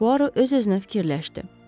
Puaro öz-özünə fikirləşdi.